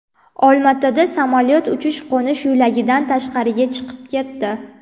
Olmaotada samolyot uchish-qo‘nish yo‘lagidan tashqariga chiqib ketdi.